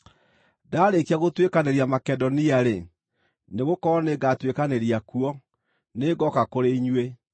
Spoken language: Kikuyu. Ndaarĩkia gũtuĩkanĩria Makedonia-rĩ, nĩgũkorwo nĩngatuĩkanĩria kuo, nĩngooka kũrĩ inyuĩ.